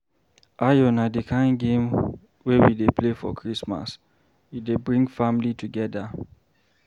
Ayo na di kain game wey we dey play for Christmas, e dey bring family togeda.